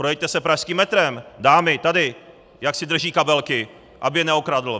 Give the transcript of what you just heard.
Projeďte se pražským metrem, dámy tady, jak si drží kabelky, aby je neokradl!